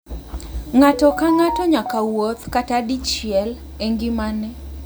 Ng'ato ka ng'ato nyaka wuoth kata dichiel e ngimane